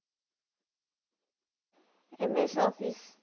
Ms office